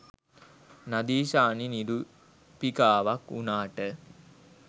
නදීෂානි නිරූපිකාවක් වුණාට